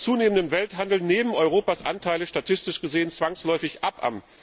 Bei zunehmendem Welthandel nehmen Europas Anteile statistisch gesehen zwangsläufig ab.